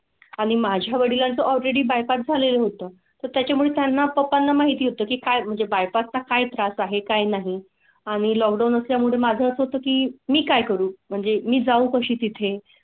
आणि माझ्या वडिलांचा ऑल रेडी बायका झालेलं होतं तर त्याच्या मुळे त्यांना पप्पांना माहिती होतं की काय म्हणजे बायको चा काही त्रास आहे काय? नाही आणि लॉकडाउन असल्यामुळे माझं होतं की मी काय करू म्हणजे मी जाऊ कशी तिथे?